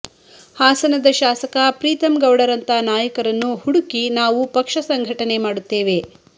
ಹಾಸನದ ಶಾಸಕ ಪ್ರೀತಮ್ ಗೌಡರಂತ ನಾಯಕರನ್ನು ಹುಡುಕಿ ನಾವು ಪಕ್ಷ ಸಂಘಟನೆ ಮಾಡುತ್ತೇವೆ